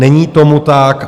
Není tomu tak.